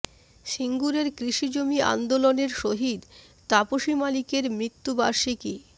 সিঙ্গুরের কৃষি জমি আন্দোলনের শহিদ তাপসী মালিকের মৃত্যু বার্ষিকী